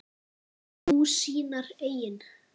Nú, sínar eigin.